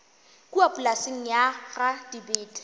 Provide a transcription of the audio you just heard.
kua polaseng ya ga dibete